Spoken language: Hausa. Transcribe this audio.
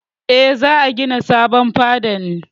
Eh, za a gina sabon fada ne.